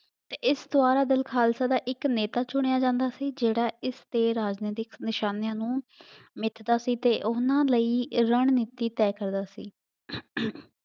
ਅਤੇ ਇਸ ਸਰਬੱਤ ਦਲ ਖਾਲਸਾ ਦਾ ਇੱਕ ਨੇਤਾ ਚੁਣਿਆ ਜਾਂਦਾ ਸੀ ਜਿਹੜਾ ਇਸ ਦੇ ਰਾਜਨੀਤਿਕ ਨਿਸ਼ਾਨਿਆਂ ਨੂੰ ਮਿੱਥਦਾ ਸੀ ਅਤੇ ਉਹਨਾ ਲਈ ਰਣਨੀਤੀ ਤੈਅ ਕਰਦਾ ਸੀ